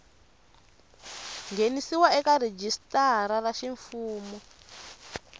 nghenisiwa eka rhijisitara ra ximfumu